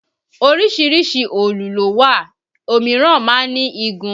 Oríṣiríṣi òòlù ló wà ó míràn máa ń ní igun